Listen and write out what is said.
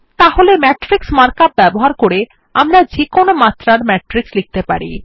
তাহলে matrix markup ব্যবহার করে আমরা যেকোনো মাত্রার ম্যাট্রিক্স লিখতে পারি